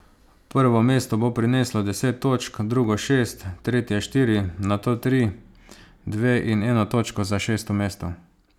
Prvo mesto bo prineslo deset točk, drugo šest, tretje štiri, nato tri, dve in eno točko za šesto mesto.